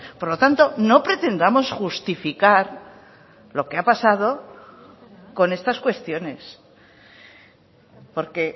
por lo tanto no pretendamos justificar lo que ha pasado con estas cuestiones porque